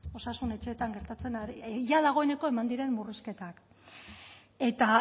osasun etxeetan gertatzen jada dagoeneko eman diren murrizketak eta